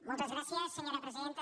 moltes gràcies senyora presidenta